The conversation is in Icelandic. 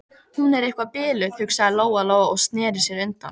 Hún er eitthvað biluð, hugsaði Lóa Lóa og sneri sér undan.